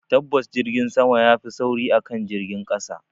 Tabbas Jirgin sama yafi sauri akan jirgin ƙasa